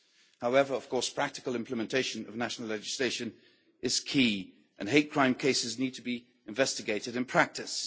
However, of course practical implementation of national legislation is key and hate crime cases need to be investigated in practice.